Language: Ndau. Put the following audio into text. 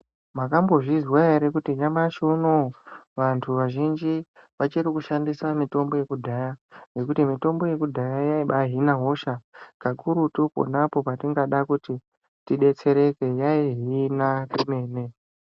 Makambozvizwa here kuti nyamashi unowu vantu vazhinji vachiri kushandisa mitombo mitombo yekudhaya yaibaa hina hosha kakurutu ponapo pataida kuti tibetsereke yaibaa hina kwemene.